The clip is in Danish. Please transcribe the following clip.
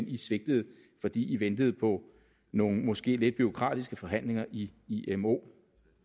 i svigtede fordi i ventede på nogle måske lidt bureaukratiske forhandlinger i imo